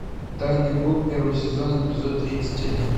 тайный круг первый сезон эпизод тридцать один